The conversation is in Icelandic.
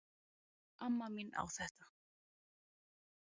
Amma mín á þetta